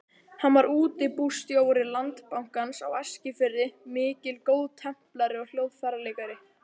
Hann var útibússtjóri Landsbankans á Eskifirði, mikill góðtemplari og hljóðfæraleikari.